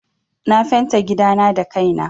Na fenta gidana da kai na.